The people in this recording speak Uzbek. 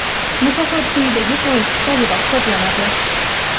mukofot quyidagi foiz hisobida hisoblanadi:.